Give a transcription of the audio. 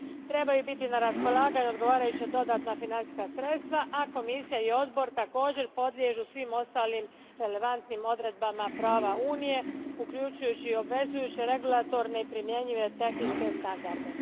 Trebaju biti na raspolaganju odgovarajuća dodatna financijska sredstva, a Komisija i odbor također podliježu svim ostalim relevantnim odredbama prava Unije uključujući obvezujuće regulatorne i primjenjive tehničke standarde.